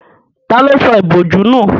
Tani ó sọ ìbòjú nù?